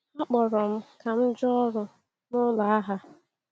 A kpọrọ m ka m jụọ ọrụ n’ụlọ agha.